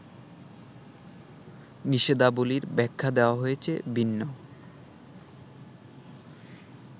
নিষেধাবলির ব্যাখ্যা দেওয়া হয়েছে ভিন্ন